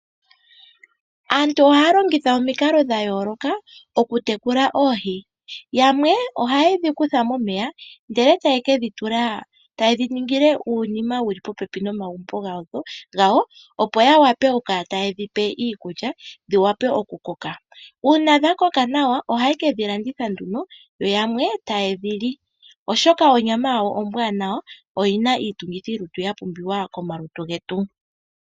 Aantu ohaya longitha omikalo dha yooloka okutekula oohi. Yamwe ohaye dhi kutha momeya ndele taye dhi ningi uunima wu li pooha dhomagumbo gawo, opo ya wape okukala taye dhi pe iikulya dhi wape okukoka. Uuna dha koka nawa ohaye ke dhi landitha nduno yo yamwe taye dhi li, oshoka onyama yawo ombwaanawa oyi na iitungithilutu ya pumbiwa komalutu getu.